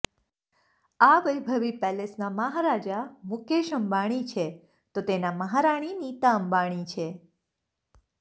આ વૈભવી પેલેસના મહારાજા મુકેશ અંબાણી છે તો તેના મહારાણી નીતા અંબાણી છે